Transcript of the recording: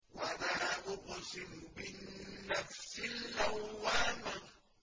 وَلَا أُقْسِمُ بِالنَّفْسِ اللَّوَّامَةِ